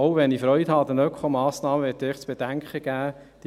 Selbst wenn ich an den Ökomassnahmen Freude habe, möchte ich zu bedenken geben: